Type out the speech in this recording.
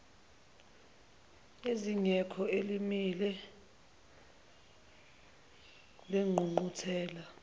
eziko elimile lengqungquthela